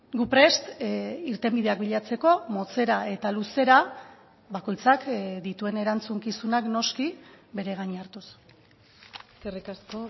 gu prest irtenbideak bilatzeko motzera eta luzera bakoitzak dituen erantzukizunak noski bere gain hartuz eskerrik asko